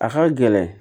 A ka gɛlɛn